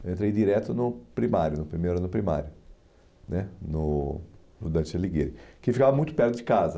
Eu entrei direto no primário no primeiro ano do primário né no no Dante Alighieri, que ficava muito perto de casa.